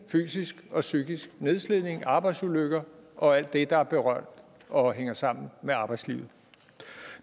fysisk og psykisk nedslidning arbejdsulykker og alt det der er berørt af og hænger sammen med arbejdslivet